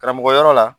Karamɔgɔ yɔrɔ la